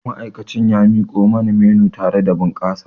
Ma'aikacin ya miko mani menu tare da bunƙasa